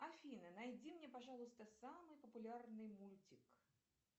афина найди мне пожалуйста самый популярный мультик